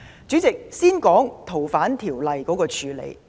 主席，我先說說修訂《逃犯條例》的處理。